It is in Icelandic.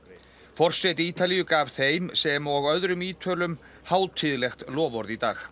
forseti Ítalíu gaf þeim sem og öðrum Ítölum hátíðlegt loforð í dag